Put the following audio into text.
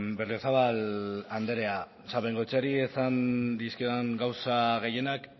berriozabal andrea o sea bengoecheari esan dizkiodan gauza gehienak